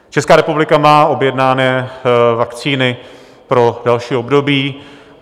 Česká republika má objednané vakcíny pro další období.